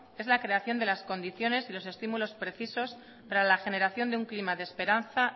es la creación de las condiciones y los estímulos precisos para la generación de un clima y esperanza